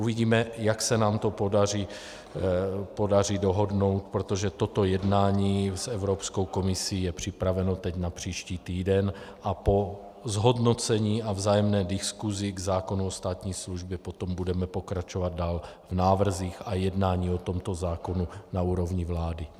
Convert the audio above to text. Uvidíme, jak se nám to podaří dohodnout, protože toto jednání s Evropskou komisí je připraveno teď na příští týden, a po zhodnocení a vzájemné diskusi k zákonu o státní službě potom budeme pokračovat dále v návrzích a jednáních o tomto zákonu na úrovni vlády.